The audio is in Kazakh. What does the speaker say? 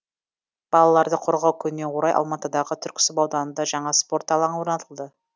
балаларды қорғау күніне орай алматыдағы түрксіб ауданында жаңа спорт алаңы орнатылды